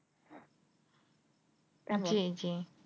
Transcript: জি